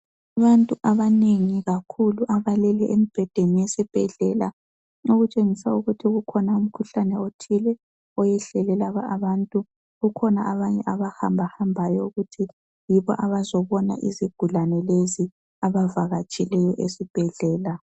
Abantu abanengi kakhulu abalele embhedeni yesibhedlela okutshengisa ukuthi ukhona umkhuhlane othile oyehlele abantu ukhona abanye abantu abahambahambayo ukuthi yibo abazobona izigulani lezi ,abavakatshileyo esibhedlela.